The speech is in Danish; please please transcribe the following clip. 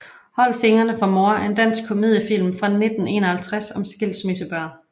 Hold fingrene fra mor er en dansk komediefilm fra 1951 om skilsmissebørn